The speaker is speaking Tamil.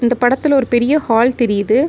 இந்த படத்துல ஒரு பெரிய ஹால் தெரிது.